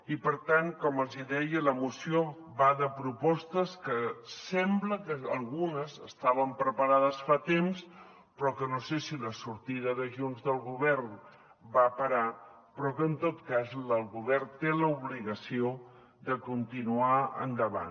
i per tant com els hi deia la moció va de propostes que sembla que algunes estaven preparades fa temps però que no sé si la sortida de junts del govern va parar però que en tot cas el govern té l’obligació de continuar endavant